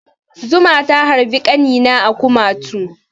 Zuma ta harbi ƙanina a kumatu.